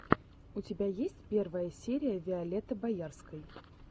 у тебя есть первая серия виолетты боярской